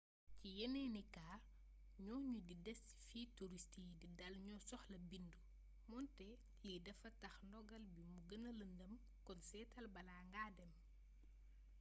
ci yeneeni kaa ñooñu di dés ci fi turist yi di dal ñoo soxla bindu moonte lii dafa tax ndogal bii mu gëna lëndëm kon seetal bala ngaa dem